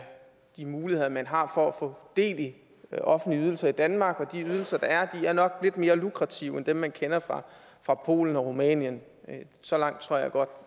de muligheder man har for at få del i offentlige ydelser i danmark og de ydelser der er nok lidt mere lukrative end dem man kender fra polen og rumænien så langt tror jeg godt